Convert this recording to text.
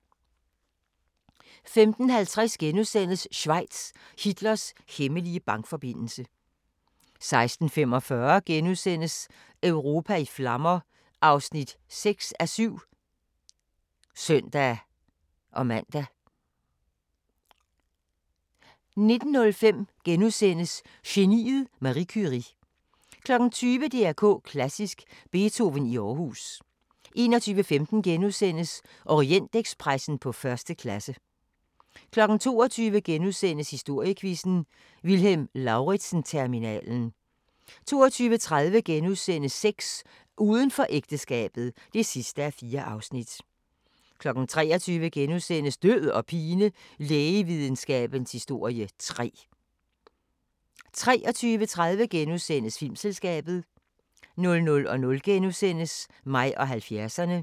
15:50: Schweiz – Hitlers hemmelige bankforbindelse * 16:45: Europa i flammer (6:7)*(søn-man) 19:05: Geniet Marie Curie * 20:00: DR K Klassisk: Beethoven i Aarhus 21:15: Orientekspressen på første klasse * 22:00: Historiequizzen: Vilhelm Lauritzen-terminalen * 22:30: Sex: Uden for ægteskabet (4:4)* 23:00: Død og pine: Lægevidenskabens historie 3 * 23:30: Filmselskabet * 00:00: Mig og 70'erne *